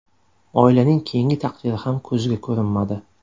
Oilaning keyingi taqdiri ham ko‘ziga ko‘rinmadi.